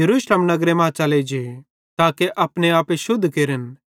यरूशलेम नगरे मां जो च़ले जे ताके अपनो आप शुद्ध केरन